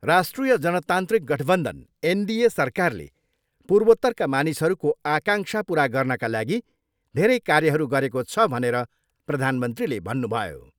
राष्ट्रिय जनतान्त्रिक गठबन्धन, एनडिए सरकारले पूर्वोत्तरका मानिसहरूको आकाङ्क्षा पुरा गर्नका लागि धेरै कार्यहरू गरेको छ भनेर प्रधानमन्त्रीले भन्नुभयो ।